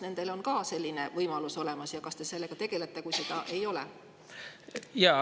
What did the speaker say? Kas nendel on ka selline võimalus olemas ja kas te sellega tegelete, kui seda ei ole?